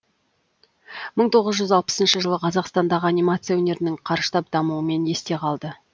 мың тоғыз жүз алпысыншы жылы қазақстандағы анимация өнерінің қарыштап дамуымен есте қалды